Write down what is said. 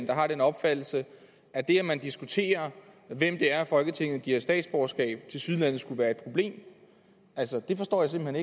der har den opfattelse at det at man diskuterer hvem det er folketinget giver statsborgerskab tilsyneladende skulle være et problem det forstår jeg simpelt